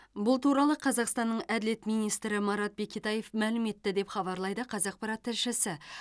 бұл туралы қазақстанның әділет министрі марат бекетаев мәлім етті деп хабарлайды қазақпарат тілшісі